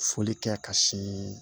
Foli kɛ ka sin